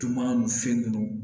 Tun ma n se ninnu